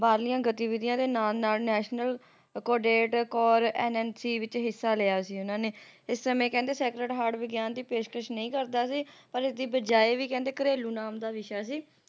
ਬਾਹਰਲੀਆਂ ਗਤੀਵਿਧੀਆਂ ਦੇ ਨਾਲ ਨਾਲ National cadet corps NNC ਵਿੱਚ ਹਿੱਸਾ ਲਿਆ ਸੀ ਇਹਨਾਂ ਨੇ ਇਸ ਸਮੇ ਕਹਿੰਦੇ sacred heart ਵਿਗਿਆਨ ਦੀ ਪੇਸ਼ਕਸ਼ ਨਹੀਂ ਕਰਦਾ ਸੀ ਪਰ ਇਸ ਦੀ ਬਜਾਏ ਵੀ ਘਰੇਲੂ ਨਾਮ ਦਾ ਵਿਸ਼ਾ ਸੀ